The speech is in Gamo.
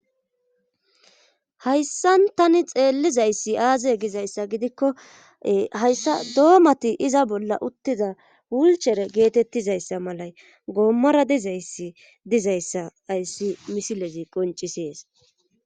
hayssan tani xeellizayssi aaze gizayssa gidikko hayssa doomati iza bolla uttiza wulchere geetettizayssa malay goommora dizayssi dizayssa ayssi misilezi qoncisees